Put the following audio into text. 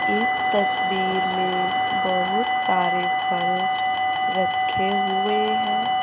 इस तस्वीर में बहुत सारे फल रखे हुए है।